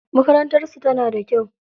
Makarantar su tana da kyau.